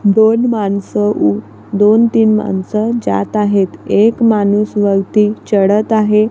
दोन माणसं दोन तीन माणसं जात आहेत एक माणूस वरती चढत आहे.